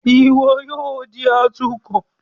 Iwọ yoo di atukọ!